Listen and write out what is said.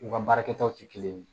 U ka baara kɛtaw tɛ kelen ye